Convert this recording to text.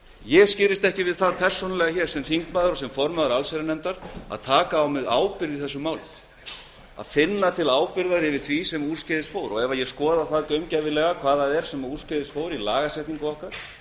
ég skirrist ekki við það sem þingmaður og sem formaður allsherjarnefndar að taka á mig ábyrgð í þessu máli að finna til ábyrgðar gagnvart því sem úrskeiðis fór ef ég skoða það gaumgæfilega hvað fór úrskeiðis í lagasetningu okkar þá